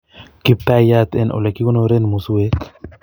Kiptaiat en ole kikonoren Musuek